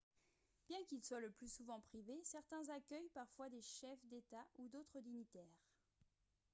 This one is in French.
bien qu'ils soient le plus souvent privés certains accueillent parfois des chefs d'état ou d'autres dignitaires